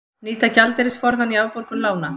Nýta gjaldeyrisforðann í afborgun lána